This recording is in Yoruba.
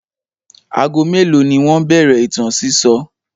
Ago mélòó ni wọ́n bẹ̀rẹ̀ ìtàn sísọ?